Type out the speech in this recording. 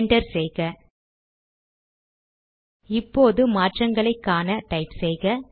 enter செய்க இப்போது மாற்றங்களை காண டைப் செய்க